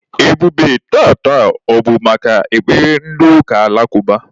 Ebube, taata, ọ bụ maka ekpere ndị ụka alakụba?